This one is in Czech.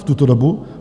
V tuto dobu?